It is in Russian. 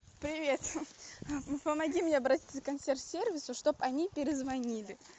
привет помоги мне обратиться к консьерж сервису чтоб они перезвонили